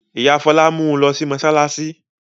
Ìyá Fọlá mú u lọ sí mọ́ṣáláṣí.